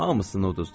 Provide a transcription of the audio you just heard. Hamısını uduzdu.